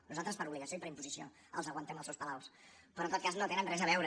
nosaltres per obligació i per imposició els aguantem els seus palaus però en tot cas no tenen res a veure